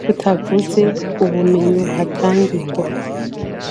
tutavuze ubumenyi buhatangirwa.